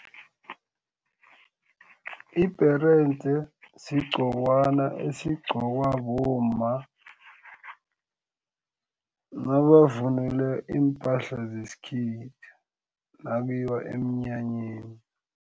Ibherede sigqokwana esigqokwa bomma. Nabavunule iimpahla zesikhethu nakuyiwa eminyanyeni.